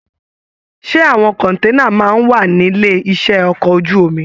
Ṣe àwọn kọ̀nténà máa n wà nílé iṣẹ ọkọ̀ ojú omi?